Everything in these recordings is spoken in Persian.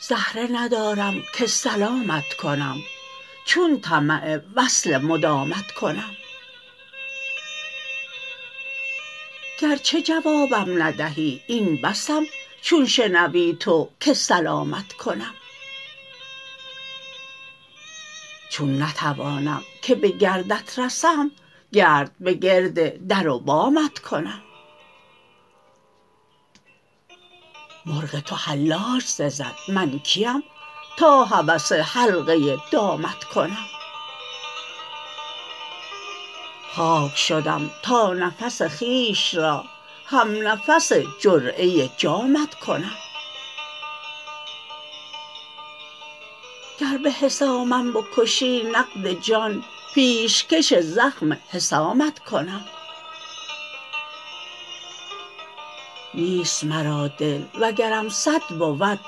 زهره ندارم که سلامت کنم چون طمع وصل مدامت کنم گرچه جوابم ندهی این بسم چون شنوی تو که سلامت کنم چون نتوانم که به گردت رسم گرد به گرد در و بامت کنم مرغ تو حلاج سزد من کیم تا هوس حلقه دامت کنم خاک شدم تا نفس خویش را هم نفس جرعه جامت کنم گر به حسامم بکشی نقد جان پیشکش زخم حسامت کنم نیست مرا دل وگرم صد بود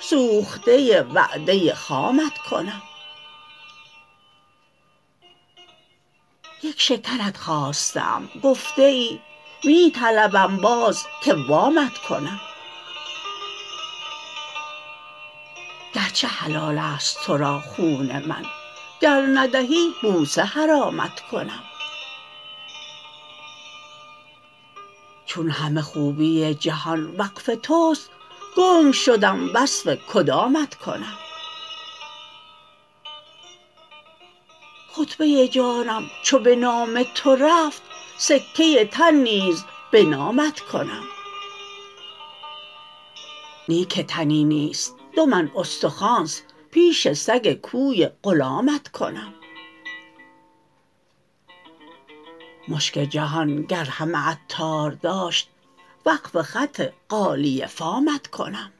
سوخته وعده خامت کنم یک شکرت خواسته ام گفته ای می طلبم باز که وامت کنم گرچه حلال است تو را خون من گر ندهی بوسه حرامت کنم چون همه خوبی جهان وقف توست گنگ شدم وصف کدامت کنم خطبه جانم چو به نام تو رفت سکه تن نیز به نامت کنم نی که تنی نیست دو من استخوانست پیش سگ کوی غلامت کنم مشک جهان گر همه عطار داشت وقف خط غالیه فامت کنم